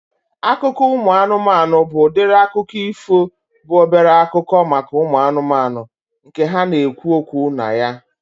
Akụkọ ụmụ anụmanụ bụ udiri akụkọ ifo bụ obere akụkọ maka ụmụ anụmanụ nke ha na-ekwu okwu na ya